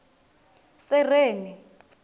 sereni